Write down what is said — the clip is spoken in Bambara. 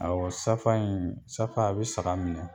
Awɔ safa in safa a be saga minɛ